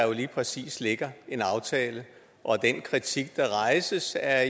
der lige præcis ligger en aftale og den kritik der rejses er